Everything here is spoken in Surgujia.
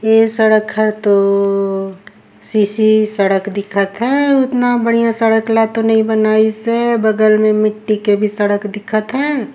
ए सड़क हर तो सीसी सड़क दिखत है उतना बढ़िया सड़क ला तो नहीं बनाई से बगल में तो मिट्टी के भी सड़क दिखत हे।